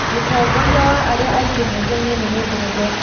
Mũtongoria wa arĩa aingĩ mbunge-inĩ nĩ mũndũ mũrũme.